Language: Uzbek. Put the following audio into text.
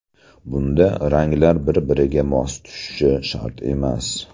Bunda ranglar bir-biriga mos tushishi shart emas.